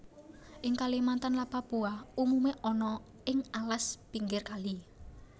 Ing Kalimantan lan Papua umume ana ing alas pinggir kali